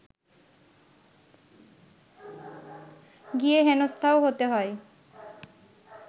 গিয়ে হেনস্থাও হতে হয়